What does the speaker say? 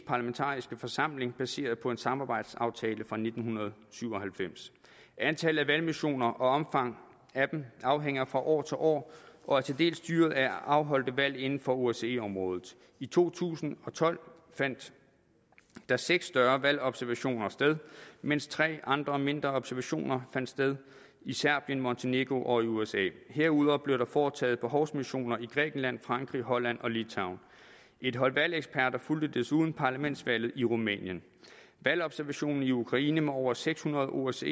parlamentariske forsamling baseret på en samarbejdsaftale fra nitten syv og halvfems antallet af valgmissioner og omfanget af dem afhænger fra år til år og er til dels styret af afholdte valg inden for osce området i to tusind og tolv fandt der seks større valgobservationer sted mens tre andre mindre observationer fandt sted i serbien montenegro og i usa herudover blev der foretaget behovsmissioner i grækenland frankrig holland og litauen et hold valgeksperter fulgte desuden parlamentsvalget i rumænien valgobservationen i ukraine med over seks hundrede osce